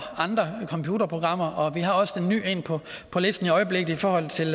andre computerprogrammer vi har også et nyt på listen i øjeblikket i forhold til